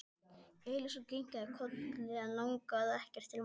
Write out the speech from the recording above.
Elsa kinkaði kolli en lagði ekkert til málanna.